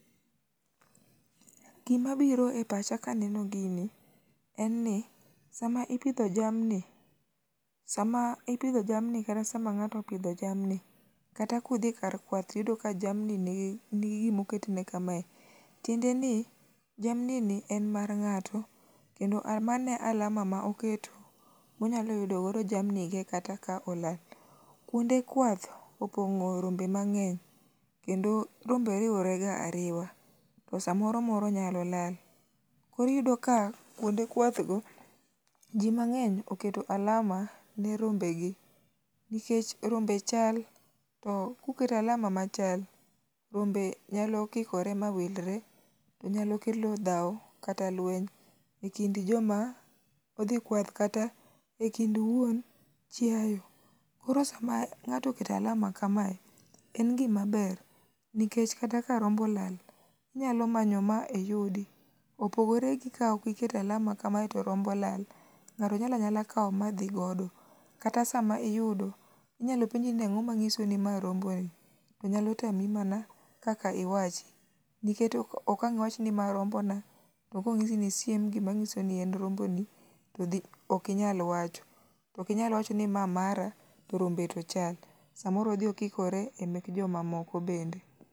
Gima biro e pacha ka aneno gini en ni sama ipidho jamni kata sama ng'ato opidho jamni kata ka udhi kar kwath to iyudo ka jamni nigi gima oketne kame, tiende ni jamni ni en mar ng'ato kendo mano e alama ma oketo ma onyalo yudogodo jamni ge kata ka ola. Kuonde kwath opong'o rombe mang'eny kendo rombe riwore ga ariwa. To samoro moro nyalo lal. Koro iyudo ka kuonde kwath go, ji mang'eny oketo alama ne rombegi. Nikech rombe chal to mkuketo alama machal to rombe nyalo kikore mawilre nyalo kelo dhaw kata lweny ekind joma odhi kwath kata ekind wuon chiayo. Koro sama ng'ato oketo alama kamae, en gima ber nikech kata ka rombo olal, inyalo manyo ma iyudi. Opogore gi kaok iketo alama kamae to rombo olal, ng'ato nyalo anyala kawo madhi godo. Kata sama iyudo, inyalo penji ni ang'o manyiso ni mae rombo ni, to nyalo tami mana kaka iwachi nikech ok ang' iwach ni mae rombona to ka onyisi ni isiem gima nyisi ni en romboni to ok inyal wacho. Ok inyal wacho ni mae mara to rombe to chal, samoro odhi okikore emek joma moko bende.